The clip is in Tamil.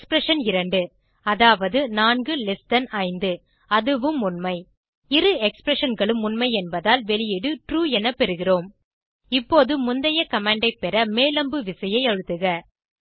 எக்ஸ்பிரஷன் 2 அதாவது 45 அதுவும் உண்மை இரு expressionகளும் உண்மை என்பதால் வெளியீடு ட்ரூ என பெறுகிறோம் இப்போது முந்தைய கமாண்ட் ஐ பெற மேல் அம்பு விசையை அழுத்துக